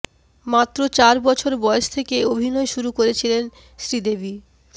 মাত্র চার বছর বয়স থেকে অভিনয় শুরু করেছিলেন শ্রীদেবী